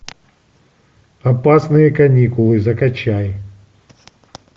опасные каникулы закачай